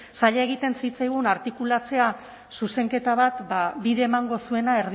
zaila egiten zitzaigun artikulatzea zuzenketa bat bide emango zuena